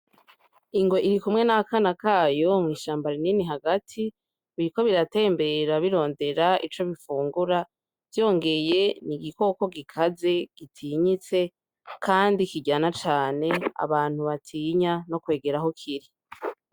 Ingwe irikumwe n'akana kayo mw'ishamba rinini hagati biriko biratembera birondera ico bifungura vyongeye n'igikoko gikaze gitinyitse kandi kiryana cane abantu batinya no kwegera aho kiri.